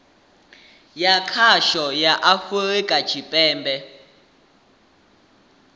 ya khasho ya afurika tshipembe